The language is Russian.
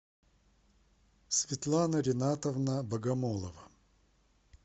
светлана ренатовна богомолова